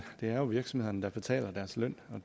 jo virksomhederne der betaler deres løn og